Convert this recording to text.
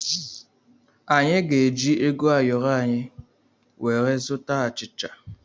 Anyị ga-eji ego ayọrọ anyị wee zụta achịcha.